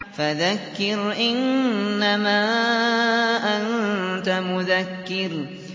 فَذَكِّرْ إِنَّمَا أَنتَ مُذَكِّرٌ